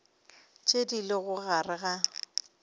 tše di lego gare ga